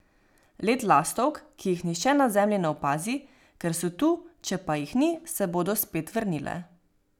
Let lastovk, ki jih nihče na Zemlji ne opazi, ker so tu, če pa jih ni, se bodo spet vrnile.